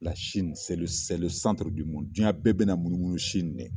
Sini duyan bɛɛ bina na munumunu Sini ne.